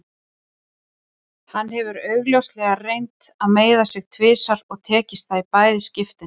Hann hefur augljóslega reynt að meiða mig tvisvar og tekist það í bæði skiptin.